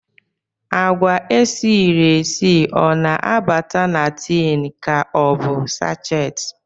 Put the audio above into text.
Agwa esiri esi o na-abata na tin ka ọ bụ sachet